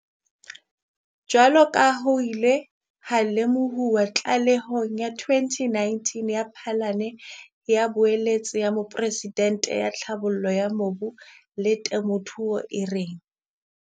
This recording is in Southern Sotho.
Jwaloka ha ho ile ha lemohuwa tlalehong ya 2019 ya Phanele ya Boeletsi ya Moporesidente ya Tlhabollo ya Mobu le Temothuo, e reng